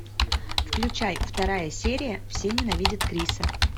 включай вторая серия все ненавидят криса